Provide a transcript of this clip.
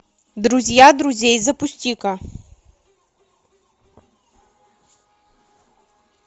друзья друзей запусти ка